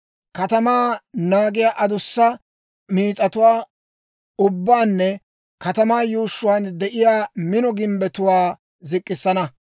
katamaa naagiyaa adussa miis'atuwaa ubbaanne katamaa yuushshuwaan de'iyaa mino gimbbetuwaa zik'k'issana;